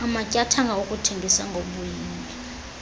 amatyathanga okuthengisa ngemiyinge